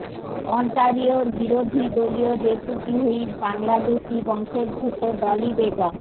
অন্টারিওর বিরোধী দলীয় deputy whip বাংলাদেশি বংশোদ্ভূত ডলি বেগম